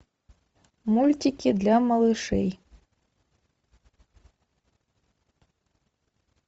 мультики для малышей